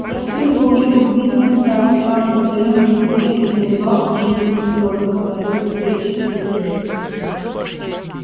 я впитывал её глубинные страхи самые потаённые секреты и наливался жизненными соками становился крепче сильнее